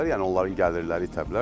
Yəni onların gəlirləri itə bilər.